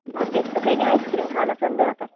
भाग्येशच काई नाई ice cream खान चाललंय आता